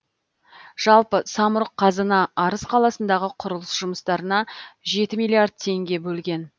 жалпы самұрық қазына арыс қаласындағы құрылыс жұмыстарына жеті миллиард теңге бөлген